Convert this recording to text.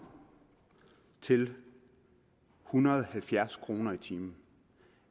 til en hundrede og halvfjerds kroner i timen